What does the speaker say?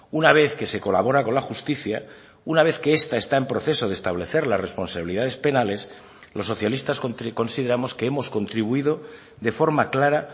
una vez que se colabora con la justicia una vez que esta está en proceso de establecer las responsabilidades penales los socialistas consideramos que hemos contribuido de forma clara